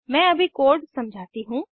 मैं अभी कोड समझाती हूँ